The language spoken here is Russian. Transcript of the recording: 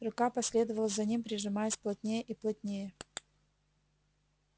рука последовала за ним прижимаясь плотнее и плотнее